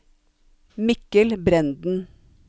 Mikkel Brenden